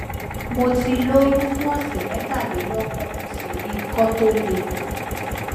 mo ti lóyún fún ọsẹ mẹtàlélọgbọn mo sì ní ikọ tó le